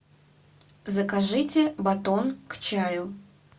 закажите батон к чаю